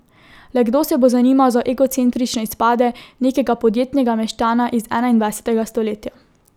Le kdo se bo zanimal za egocentrične izpade nekega podjetnega meščana iz enaindvajsetega stoletja?